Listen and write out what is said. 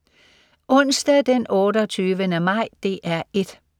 Onsdag den 28. maj - DR 1: